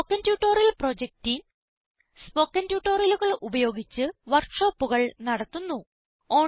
spoken tutorial project team spoken ട്യൂട്ടോറിയലുകൾ ഉപയോഗിച്ച് വർക്ക് ഷോപ്പുകൾ നടത്തുന്നു